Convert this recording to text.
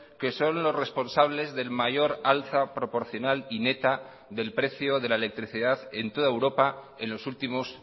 que son los responsables del mayor alza proporcional y neta del precio de la electricidad en toda europa en los últimos